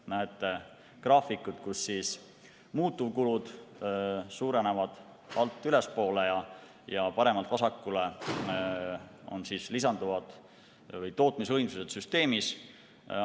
Näete graafikut, kus muutuvkulud suurenevad alt ülespoole ja paremalt vasakule on tootmisvõimsused süsteemis.